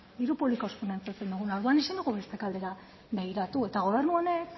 diru publikoz finantzatzen duguna orduan ezin dugu beste aldera begiratu eta gobernu honek